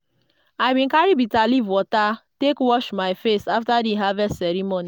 i bin carry bitterleaf water take wash my face after the harvest ceremony